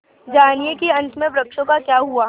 जानिए कि अंत में वृक्षों का क्या हुआ